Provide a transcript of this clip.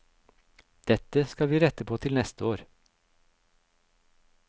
Dette skal vi rette på til neste år.